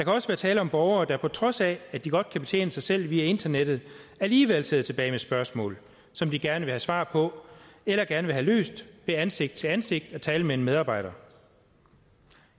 også være tale om borgere der på trods af at de godt kan betjene sig selv via internettet alligevel sidder tilbage med spørgsmål som de gerne vil have svar på eller gerne vil have løst ved ansigt til ansigt at tale med en medarbejder